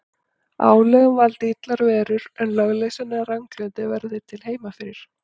Álögum valdi illar verur, en lögleysan eða ranglætið verði til heima fyrir.